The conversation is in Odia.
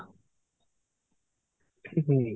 ହୁଁ